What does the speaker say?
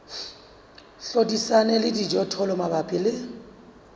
hlodisana le dijothollo mabapi le